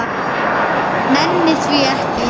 Nenni því ekki